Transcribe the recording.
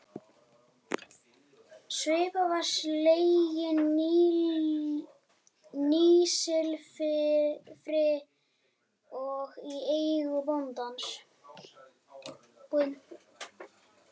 Svipan var slegin nýsilfri og í eigu bóndans.